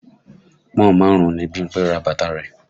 Pọ́n-ọ̀n márùn-ún ni Bímpé ra bàtà rẹ̀